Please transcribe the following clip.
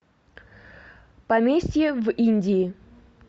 поместье в индии